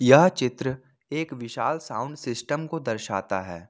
यह चित्र एक विशाल साउंड सिस्टम को दर्शाता है।